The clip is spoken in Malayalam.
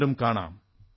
വീണ്ടും കാണാം